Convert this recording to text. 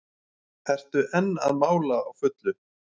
Ertu enn að mála á fullu?